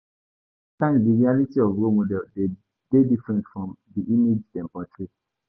Sometimes, di reality of role models dey different from di image dem portray.